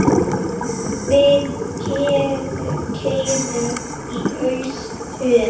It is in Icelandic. Við keyrum í austur